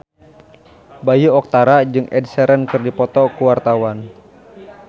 Bayu Octara jeung Ed Sheeran keur dipoto ku wartawan